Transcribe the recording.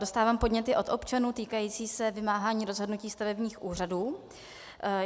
Dostávám podněty od občanů týkající se vymáhání rozhodnutí stavebních úřadů.